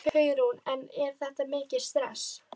Hugrún: En er þetta mikið stress?